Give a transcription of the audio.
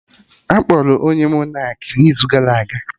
Akpọrọ onye Monak n'izu gara aga